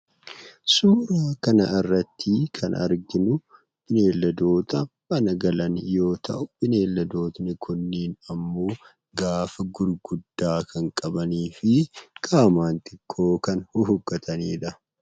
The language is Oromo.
Suuraa kana irratti kan arginu beeyladoota mana galan yoo ta'u, beeyladootni kunneen immoo gaanfa guguddaa kan qabanii fi qaamaan xiqqoo kan huhuuqqataniidha.